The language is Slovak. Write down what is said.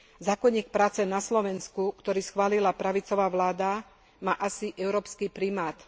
Zákonník práce na Slovensku, ktorý schválila pravicová vláda, má asi európsky primát.